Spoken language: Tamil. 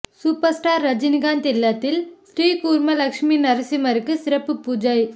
சூப்பர்ஸ்டார் ரஜிகாந்த் இல்லத்தில் ஸ்ரீ கூர்ம லட்சுமி நரசிம்மருக்கு சிறப்பு பூஜை